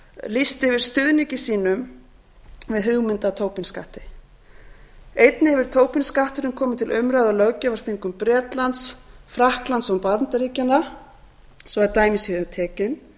lýst yfir stuðningi sínum við hugmynd að tobin skatti einnig hefur tobin skatturinn komið til umræðu á löggjafarþingum bretlands frakklands og bandaríkjanna svo að dæmi séu tekin